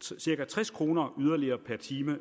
cirka tres kroner yderligere per time